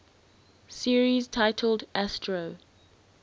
series titled astro